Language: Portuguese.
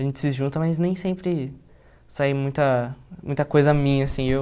A gente se junta, mas nem sempre sai muita muita coisa minha, assim. Eu